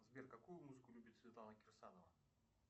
сбер какую музыку любит светлана кирсанова